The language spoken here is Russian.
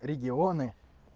регионы